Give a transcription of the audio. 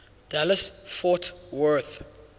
dallas fort worth